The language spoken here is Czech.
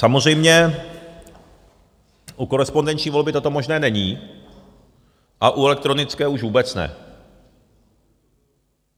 Samozřejmě u korespondenční volby toto možné není a u elektronické už vůbec ne.